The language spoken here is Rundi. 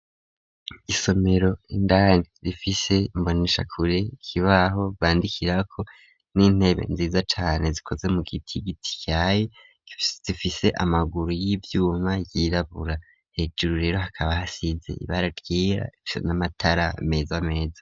Isomero indani rifise imbonishakure ,kibaho bandikirako ,n'intebe nziza cane zikoze mu giti, giti caye, zifise amaguru y'ivyuma, yirabura ,hejuru rero hakaba hasize ibara ryera rifisi n'amatara meza meza.